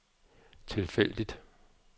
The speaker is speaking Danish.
tilfældigt